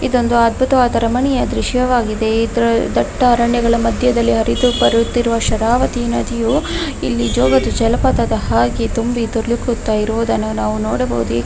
ಇದೊಂದು ಅದ್ಭುತವಾದ ರಮಣೀಯ ದೃಶ್ಯವಾಗಿದೆ ಇದ್ರ ದಟ್ಟ ಅರಣ್ಯಗಳ ಮದ್ಯದಲ್ಲಿ ಹರಿದು ಬರುತ್ತಿರುವ ಶರಾವತಿ ನದಿಯು ಇಲ್ಲಿ ಜೋಗದ ಜಲಪಾತದ ಹಾಗೆ ತುಂಬಿ ದೂಳುಕುತ್ತಾ ಇರುವುದನ್ನು ನಾವು ನೋಡಬಹುದು .